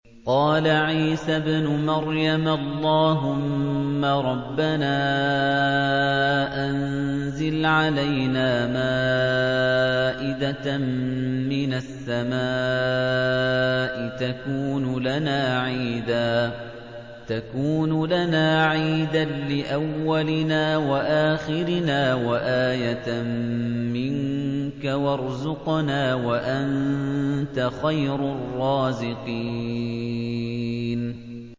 قَالَ عِيسَى ابْنُ مَرْيَمَ اللَّهُمَّ رَبَّنَا أَنزِلْ عَلَيْنَا مَائِدَةً مِّنَ السَّمَاءِ تَكُونُ لَنَا عِيدًا لِّأَوَّلِنَا وَآخِرِنَا وَآيَةً مِّنكَ ۖ وَارْزُقْنَا وَأَنتَ خَيْرُ الرَّازِقِينَ